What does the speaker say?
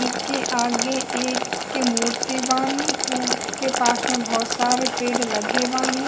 इके आगे एक मूर्ति बानी उ के पास में बहुत सारे पेड़ लगे बानी।